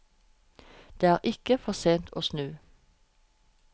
Det er ikke for sent å snu.